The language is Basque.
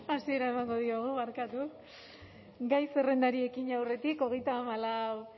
hasiera emango diogu barkatu gai zerrendari ekin aurretik hogeita hamalau